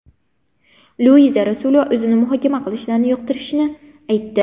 Luiza Rasulova o‘zini muhokama qilishlarini yoqtirishini aytdi.